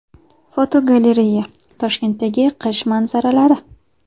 Fotogalereya: Toshkentdagi qish manzaralari.